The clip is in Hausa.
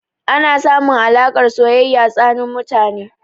Ana samun alaƙar soyayya tsanin mutane.